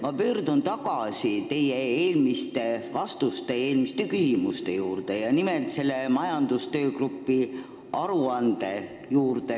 Ma pöördun tagasi eelmiste küsimuste ja teie vastuste juurde, nimelt selle majandustöögrupi aruande juurde.